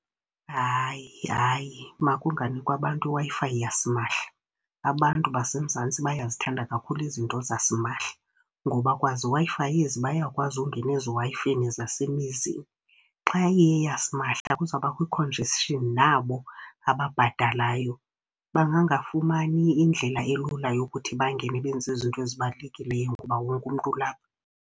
Hayi, hayi, makunganikwa bantu iWi-Fi yasimahla. Abantu baseMzantsi bayazithanda kakhulu izinto zasimahla, ngoba kwaziWi-Fi ezi bayakwazi ukungena eziwayifeni zasemizini. Xa iyeyasimahla kuzabakho i-congestion, nabo ababhatalayo bangangafumani indlela elula yokuthi bangene benze izinto ezibalulekileyo ngoba wonke umntu ulapha.